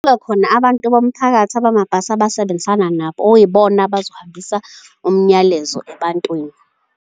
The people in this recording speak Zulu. Kuba khona abantu bomphakathi abamabhasi abasebenzisana nabo okuyibona abazohambisa umyalezo ebantwini.